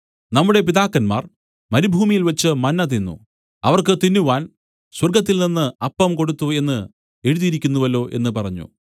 നമ്മുടെ പിതാക്കന്മാർ മരുഭൂമിയിൽവച്ച് മന്ന തിന്നു അവർക്ക് തിന്നുവാൻ സ്വർഗ്ഗത്തിൽനിന്നു അപ്പം കൊടുത്തു എന്നു എഴുതിയിരിക്കുന്നുവല്ലോ എന്നു പറഞ്ഞു